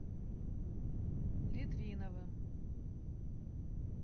литвиновым